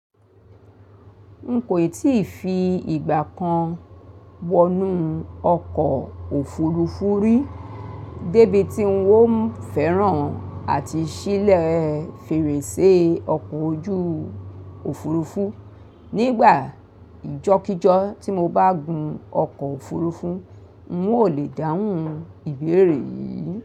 N kò tíì fi ìgbà kan wọnú ọkọ̀ òfuurufú rí, débi tí ń ó ń fẹ́ràn àti ṣílè fèrèsé ọkọ̀ ojú òfuurufú. Nígbà ìjọ́kìjọ́ tí mo bá gùn ọkọ̀ òfuurufú, ń ó lè dáhùn ìbéèrè yìí.